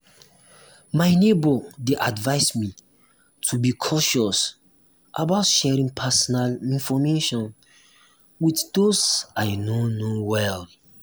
my neighbor dey advise me to be um cautious about sharing personal um information with those i no know well.